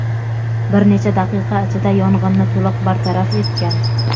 bir necha daqiqa ichida yong‘inni to‘liq bartaraf etgan.